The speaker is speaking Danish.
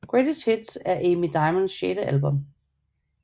Greatest Hits er Amy Diamonds sjette album